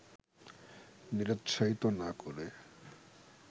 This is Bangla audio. নিরুৎসাহিত না করে